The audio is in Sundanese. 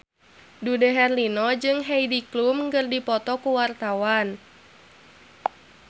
Dude Herlino jeung Heidi Klum keur dipoto ku wartawan